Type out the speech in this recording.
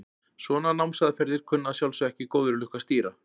Svona námsaðferðir kunna að sjálfsögðu ekki góðri lukku að stýra.